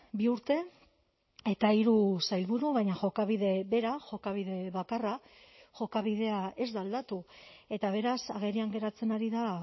bi urte eta hiru sailburu baina jokabide bera jokabide bakarra jokabidea ez da aldatu eta beraz agerian geratzen ari da